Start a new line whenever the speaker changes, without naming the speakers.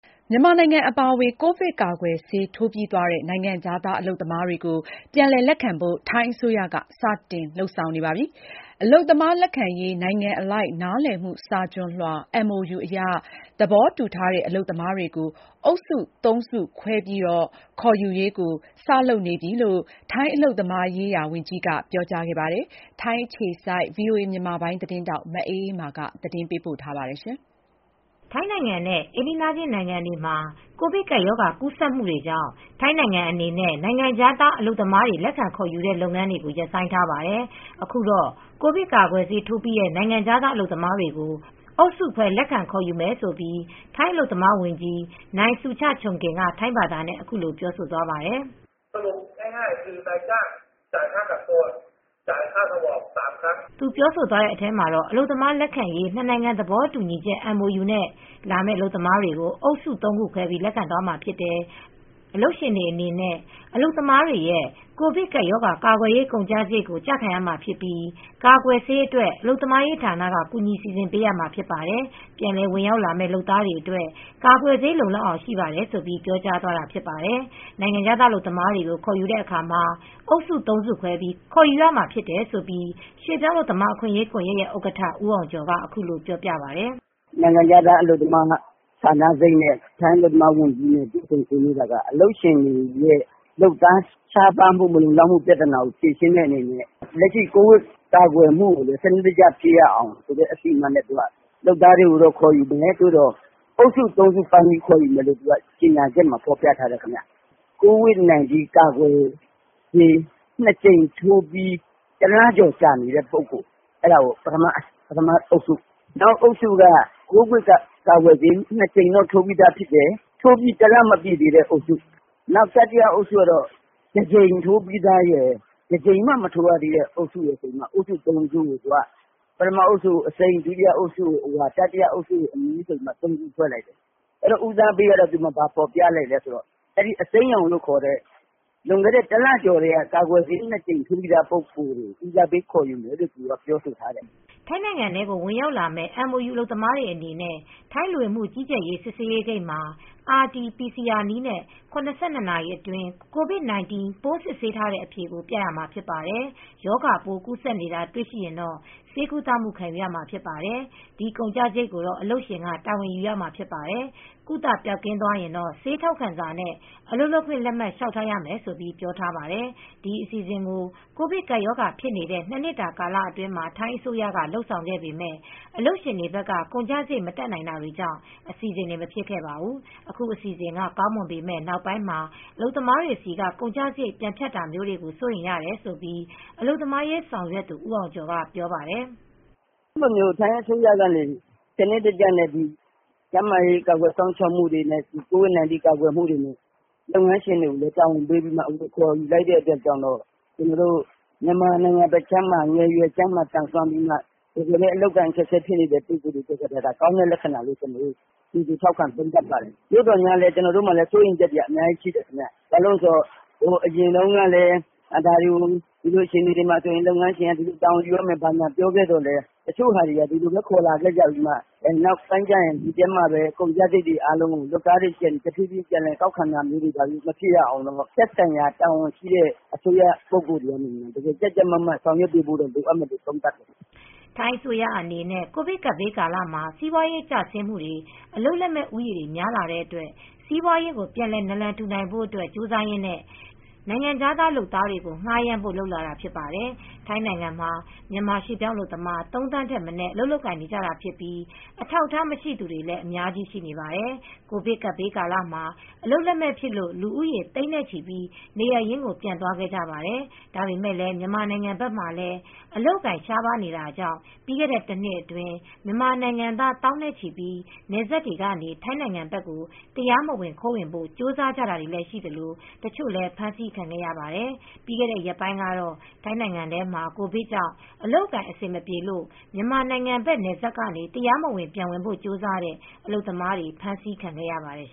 မြန်မာနိုင်ငံအပါအဝင် ကိုဗစ်ကာကွယ်ဆေး ထိုးပြီးသွားတဲ့ နိုင်ငံခြားသား အလုပ်သမားတွေကို ပြန်လည်လက်ခံဖို့ ထိုင်းအစိုးရက စတင်လုပ်နေပါတယ်။ အလုပ်သမားလက်ခံရေး နိုင်ငံအလိုက် နားလည်မှုစာချွန်လွှာ MOU အရ သဘောတူထားတဲ့ အလုပ်သမားတွေကို အုပ်စု ၃ စုခွဲခေါ်ယူရေး စလုပ်နေပြီလို့ ထိုင်းအလုပ်သမားရေးရာဝန်ကြီးက ပြောကြားခဲ့ပါတယ်။ ထိုင်းအခြေစိုက်သတင်းထောက် မအေးအေးမာက အပြည်အစုံ ဆက်ပြောပြပါမယ်။ ထိုင်းနိုင်ငံနဲ့ အိမ်နီးချင်းနိုင်ငံတွေမှာ ကိုဗစ်ကပ်ရောဂါ ကူးစက်မှုတွေကြောင့် ထိုင်းနိုင်ငံအနေနဲ့ နိုင်ငံခြားက အလုပ်သမား လက်ခံခေါ်ယူတဲ့ လုပ်ငန်းတွေကို ရပ်ဆိုင်းထားပါတယ်။ အခုတော့ ကိုဗစ်ကာကွယ်ဆေးထိုးပြီးတဲ့ နိုင်ငံခြားသား အလုပ်သမားတွေကို အုပ်စုခွဲ လက်ခံခေါ်ယူမယ်လို့ ထိုင်းအလုပ်သမားဝန်ကြီး နိုင်ဆူချ ချုံကင်က ထိုင်းဘာသာနဲ့ ခုလို ပြောကြားခဲ့ပါတယ်။ သူပြောဆိုသွာတဲ့ အထဲမှာတော့ အလုပ်သမားလက်ခံရေး နှစ်နိုင်ငံသဘောတူညီချက် MOU နဲ့လာမယ့် အလုပ်သမားတွေကို အုပ်စု ၃ စုခွဲပြီး လက်ခံသွားမှာဖြစ်တယ်။ အလုပ်ရှင်တွေအနေနဲ့ အလုပ်သမားတွေရဲ့ ကိုဗစ်ကပ်ရောဂါ ကာကွယ်ရေးကုန်ကျစရိတ်ကို ကျခံရမှာဖြစ်ပြီး ကာကွယ်ဆေးအတွက် အလုပ်သမားရေးဌာနက ကူညီစီစဉ်ပေးမှာဖြစ်တယ်။ ပြန်လည်ဝင်ရောက်လာမယ့် လုပ်သားတွေအတွက် ကာကွယ်ဆေး လုံလောက်အောင်ရှိပါတယ်လို့ ပြောကြားသွားတာဖြစ်ပါတယ်။ နိုင်ငံခြားသားအလုပ်သမားတွေကို ခေါ်ယူတဲ့အခါမှာ အုပ်စု ၃ စုခွဲပြီး ခေါ်ယူမှာနဲ့ပတ်သက်လို့ ရွှေ့ပြောင်းအလုပ်သမား အခွင့်အရေးကွန်ရက်ရဲ့ ဥက္ကဋ္ဌဦးအောင်ကျော်က ခုလို ရှင်းပြပါတယ်။
" နိုင်ငံခြားသား အလုပ်သမား ဌာနစိပ်နဲ့ ထိုင်းအလုပ်သမားဝန်ကြီး တွေ့ဆုံဆွေးနွေးတာက အလုပ်ရှင်တွေရဲ့ လုပ်သားရှားပါးမှု မလုံလောက်မှု ပြဿနာကိုဖြေရှင်းတဲ့အနေနဲ့ လက်ရှိကိုဗစ်ကာကွယ်မှုကိုလည်း စနစ်တကျဖြစ်ရအောင် အစီအမံနဲ့ လုပ်သားတွေကိုလည်းခေါ်ယူမယ်။ သို့သော် အုပ်စု ၃ စုပိုင်းပြီး ခေါ်ယူမယ်လို့ကြေညာချက်မှာ ဖော်ပြထားတယ်။ ကိုဗစ် ၁၉ ကာကွယ်ဆေး၂ ကြိမ်ထိုးပြီး တလကျော်ကြာနေတဲ့သူတွေ ပထမအုပ်စု၊ နောက်အုပ်စုက ကိုဗစ်ကာကွယ်ဆေးထိုးပြီးသားဖြစ်တယ်။ ဒါပေမဲ့ တလမပြည့်သေးတဲ့အုပ်စု တတိယအုပ်စုကတော့ တကြိမ်ထိုးပြီးသားရယ်၊ တကြိမ်မှ မထိုးရသေးတဲ့အုပ်စုရယ် အုပ်စု ၃ စုကိုခွဲလိုက်တယ်။ ပထမအုပ်စုကို အစိမ်း ၊ ဒုတိယအုပ်စုကို အဝါ ၊ တတိယအုပ်စုကိုတော့ အနီ ဆိုပြီးခွဲလိုက်တယ်။ ဦးစားပေးကတော့ အစိမ်းရောင်အုပ်စု။ လွန်ခဲ့တဲ့တလကျော်ကတည်းက ကာကွယ်ဆေးထိုးပြီးသားအုပ်စုကို ဦးစားပေးခေါ်ယူမယ်လို့ပြောဆိုထားတယ်။
" ထိုင်းနိုင်ငံထဲ ဝင်ရောက်လာမယ့် MOU အလုပ်သမားတွေအနေနဲ့ ထိုင်းလူဝင်မှုကြီးကြပ်ရေးစစ်ဆေးဂိတ်မှာ RT-PCR နည်းနဲ့ ၇၂ နာရီအတွင်း ကိုဗစ် ၁၉ ပိုးစစ်ထားတဲ့အဖြေကို ပြရမှာဖြစ်ပါတယ်။ ရောဂါပိုးကူးစက်နေတာ တွေ့ရှိရင်တော့ ဆေးကုသမှုခံယူရမှာဖြစ်ပါတယ် ။ ဒီကုန်ကျစရိတ် ကိုတော့ အလုပ်ရှင်က တာဝန်ယူရမှာဖြစ်ပါတယ်။ ကုသပျောက်ကင်းသွားရင် ဆေးထောက်ခံစာနဲ့ အလုပ်လုပ်ခွင့်လက်မှတ် လျှောက်ထားရမယ်လို့ ပြောထားပါတယ်။ ဒီအစီအစဉ်ကို ကိုဗစ်ကပ်ရောဂါဖြစ်နေတဲ့ ၂ နှစ်တာ ကာလအတွင်း ထိုင်းအစိုးရက လုပ်ဆောင်ခဲ့ပေမယ့် အလုပ်ရှင်တွေဘက်က ကုန်ကျစရိတ် မတတ်နိုင်တာကြောင့် အစီစဉ်တွေ မဖြစ်ခဲ့ပါဘူး။ အခုအစီအစဉ်က ကောင်းမွန်ပေမယ့်နောက်ပိုင်းမှာအလုပ်သမားတွေဆီက ကုန်ကျစရိတ် ပြန်ဖြတ်တာမျိုးတွေ စိုးရိမ်ရတယ်လို့ အလုပ်သမားအရေးဆောင်ရွက်သူ ဦးအောင်ကျော်ကပြောပြပါတယ်။ " ထ
ိုင်းအစိုးရက စနစ်တကျနဲ့ ကျန်းမာရေးကာကွယ်စောင့်ရှောက်မှုနဲ့ ကိုဗစ် ၁၉ ကာကွယ်မူ့တွေကို လုပ်ငန်းရှင်တွေကို တာဝန်ပေးပြီးမှ ခေါ်ယူလိုက်ပြီးမှ မြန်မာနိုင်ငံဘက်ခြမ်းက ငယ်ရွယ်သန်စွမ်းပြီးမှ တကယ်လည်းအလုပ်အကိုင် အခက်အခဲဖြစ်နေသူတွေ အတွက် ကောင်းတဲ့ လက္ခဏာအဖြစ် ကြိုဆိုသုံးသပ်ပါတယ်။ အရင်တုန်းကလည်း ဒါတွေကိုလုပ်ငန်းရှင်က တာဝန်ယူရမယ်ပြောထားပြီးမှ နောက်ပိုင်းမှာ လုပ်သားတွေဆီကနေ ပြန်လည်ကောက်ခံတာမျိုးတွေ မဖြစ်ရအောင် သက်ဆိုင်ရာအစိုးရတာဝန်ရှိသူတွေက ကြပ်ကြပ်မတ်မတ် လုပ်ကိုင်ဆောင်ရွက်တာမျိုးဖြစ်ရမယ်လို့ သုံးသပ်တယ်။
" ထိုင်းအစိုးရအနေနဲ့ ကိုဗစ်ကပ်ဘေးကာလမှာ စီပွားရေးကျဆင်းမူတွေ အလုပ်လက်မဲ့ဦးရေတွေ များလာတဲ့အတွက် စီးပွားရေးကို ပြန်လည်နာလန်ထူ နိုင်ဖို့ ကြိုးစားရင်းနဲ့ နိုင်ငံခြားသားလုပ်သားတွေကို ငှားရမ်းဖို့ လုပ်လာတာဖြစ်ပါတယ်။ ထိုင်းနိုင်ငံမှာ မြန်မာရွှေ့ ပြောင်းအလုပ်သမား ၃ သန်းထက် မနည်းအလုပ်လုပ်ကိုင်နေကြတာဖြစ်ပြီး အထောက်အထားမရှိသူတွေလည်း အများအပြား ရှိနေပါတယ်။ ကိုဗစ်ကပ်ဘေးကာလမှာ အလုပ်လက်မဲ့ဖြစ်လို့ လူဦးရေ သိန်းနဲ့ချီပြီးနေရပ်ရင်းကို ပြန်သွားခဲ့ကြပါတယ်။ ဒါပေမယ့်လည်း မြန်မာနိုင်ငံဘက်မှာလည်း အလုပ်အကိုင် ရှားပါးတာကြောင့် ပြီးခဲ့တဲ့တနှစ်အတွင်း မြန်မာနိုင်ငံသား သောင်းနဲ့ချီ နယ်စပ်တွေကနေ ထိုင်းနိုင်ငံဘက် တရားမဝင် ခိုးဝင်ဖို့ ကြိုးစားကြတာရှိသလို၊ တချို့လည်း ဖမ်းဆီးခံခဲ့ရပါတယ်။ ပြီးခဲ့တဲ့ ရက်ပိုင်းကတော့ ထိုင်းနိုင်ငံထဲမှာ ကိုဗစ်ကြောင့် အလုပ်အကိုင် အဆင်မပြေလို့ မြန်မာနိုင်ငံဘက် နယ်စပ်ကနေ တရားမဝင်ပြန်ဝင်ဖို့ ကြိုးစားတဲ့ အလုပ်သမားတွေ ဖမ်းဆီးခံခဲ့ရပါတယ်